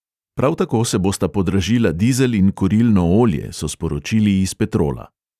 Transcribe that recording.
Prav tako se bosta podražila dizel in kurilno olje, so sporočili iz petrola.